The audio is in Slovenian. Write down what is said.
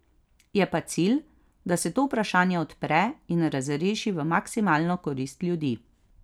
Je pa cilj, da se to vprašanje odpre in razreši v maksimalno korist ljudi.